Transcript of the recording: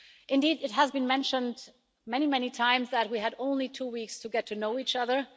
Indeed, it has been mentioned many, many times that we had only two weeks to get to know each other.